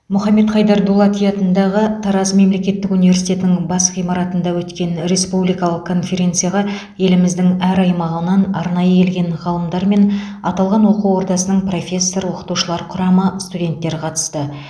мұхаммед дулати атындағы тараз мемлекеттік университетінің бас ғимаратында өткен республикалық конференцияға еліміздің әр аймағынан арнайы келген ғалымдар мен аталған оқу ордасының профессор оқытушылар құрамы студенттер қатысты